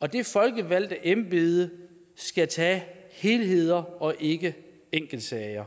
og det folkevalgte embede skal tage helheder og ikke enkeltsager